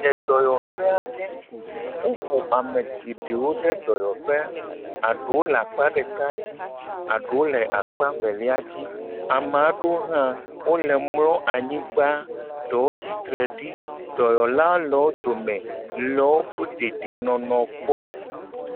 Le dɔyɔƒe ɖe. Woxɔ ame geɖewo ɖe dɔyɔƒe. Aɖuwo le akpa ɖeka dzi eɖewo le akpe evelia dzi. Ame aɖewo hã wole mlɔ anyigba, ɖewo tsitre ɖi dɔyɔlawo le wo dome le woƒe deidienɔnɔ kpɔm.